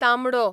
तांबडो